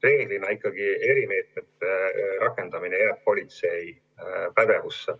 Reeglina ikkagi erimeetmete rakendamine jääb politsei pädevusse.